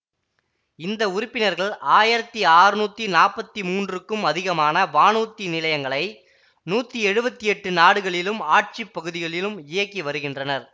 இந்த உறுப்பினர்கள் ஆயிரத்தி அறுநூத்தி நாப்பத்தி மூன்றுக்கும் அதிகமான வானூர்தி நிலையங்களை நூத்தி எழுவத்தி எட்டு நாடுகளிலும் ஆட்சிப்பகுதிகளிலும் இயக்கி வருகின்றனர்